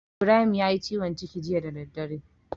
Ibrahim yayi ciwon ciki jiya da daddare.